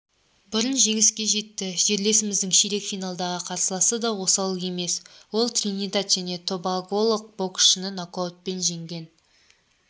бұрын жеңіске жетті жерлесіміздің ширек финалдағы қарсыласы да осал емес ол тринидад жәнетобаголық боксшынынокаутпен жеңген